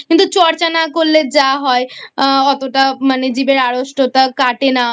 কিন্তু চর্চা না করলে যা হয় অতটা মানে জিভের আড়ষ্টতা কাটে না